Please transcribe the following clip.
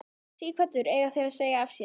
Sighvatur: Eiga þeir að segja af sér?